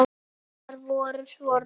Augu hennar voru svo rauð.